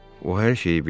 O hər şeyi bilir.